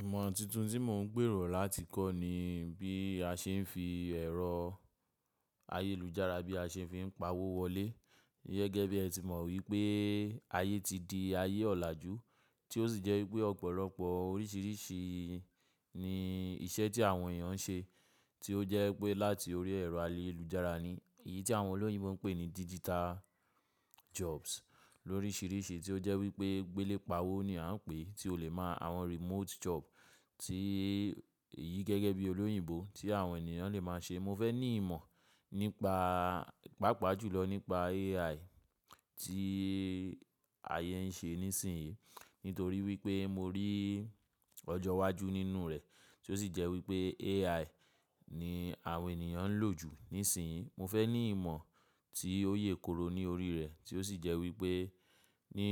Ìmọ̀ tuntun tí mò ń gbèrò láti kọ́ ni bí a ṣe ń fi ẹ̀rọ ayélujára bí a ṣe fi n pa owó wọlé. Gẹ́gẹ́ bí ẹ ti mọ̀ wípé ayé ti di ayé ọ̀làjú, tí ó sì jẹ́ wípé ọ̀pọ̀lọpọ̀ oríṣìríṣì ni iṣẹ́ tí àwọn èèyàn ń ṣe, tí ó jẹ́ wipé láti orí ẹ̀rọ ayélujára ni. Èyí tí àwọn olóyìnbo ń pè ní digital jobs lóríṣíríṣì tí ó jẹ́ wípé gbélépawó ni à ń pè é, tí ó lè máa àwọn remote job tí èyí gẹ́gẹ́ bí olóyìnbó tí àwọn ènìyàn lè máa ṣe. Mo fẹ́ ní ìmọ̀ nípa, pàápàá jùlọ nípa AI tí ayé ń ṣe nísinyí. Nítorí wípé mo rí ọjọ́ wájú nínú rẹ̀, tí ó sì jẹ́ wípé AI ni àwọn ènìyàn ń lò jù nísinyí. Mo fẹ́ ní ìmọ̀ tí ó yè kooro ní orí rẹ̀, tí ó sì jẹ́ wípé ní